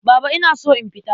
Baba ina so in fita.